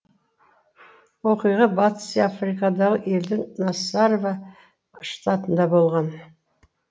оқиға батыс африкадағы елдің насарава штатында болған